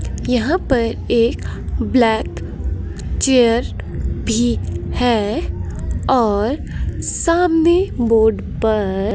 यहां पर एक ब्लैक चेयर भी है और सामने बोर्ड पर--